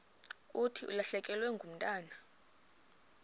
thi ulahlekelwe ngumntwana